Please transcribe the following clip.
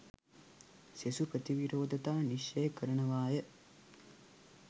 සෙසු ප්‍රතිවිරෝධතා නිශ්චය කරනවාය